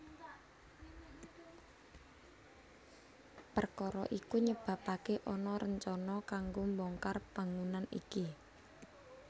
Perkara iku nyebabake ana rencana kanggo mbongkar bangunan iki